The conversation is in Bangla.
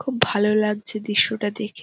খুব ভালো লাগছে দৃশ্যটা দেখে